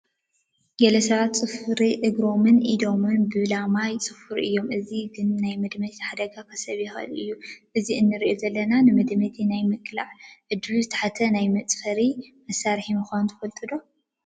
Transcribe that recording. ገለ ሰባት ፅፍሪ እግሮምን ኢዶምን ብላማ ይፅፍሩ እዮም፡፡ እዚ ግን ናይ መድመይቲ ሓደጋ ከስዕብ ይኽእል እዩ፡፡ እዚ ንሪኦ ዘለና ግን ንመድመይቲ ናይ ምቅላዕ ዕድሉ ዝተሓተ ናይ መፀፈሪ መሳርሒ ምዃኑ ትፈልጡ ዶ?